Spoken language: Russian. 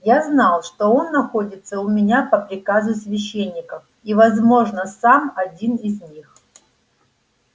я знал что он находится у меня по приказу священников и возможно сам один из них